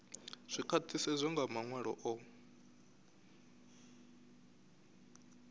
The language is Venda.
zwi khwaṱhisedzwa nga maṅwalo o